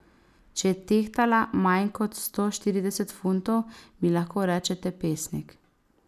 Če je tehtala manj kot sto štirideset funtov, mi lahko rečete pesnik.